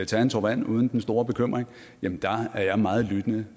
tage en tår vand uden den store bekymring er jeg meget lyttende